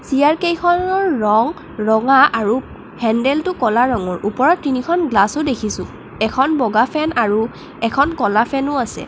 চেয়াৰকেইখনৰ ৰং ৰঙা আৰু হেণ্ডেলটো ক'লা ৰঙৰ ওপৰত তিনিখন গ্লাছও দেখিছোঁ এখন বগা ফেন আৰু এখন ক'লা ফেনো আছে।